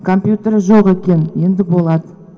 компьютер жоқ екен енді болады